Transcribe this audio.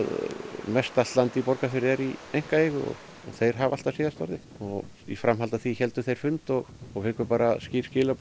með mestallt land í Borgarfirði er í einkaeigu og þeir hafa alltaf síðasta orðið í framhaldi af því héldu þeir fund og við fengum skilaboð